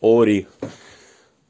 ори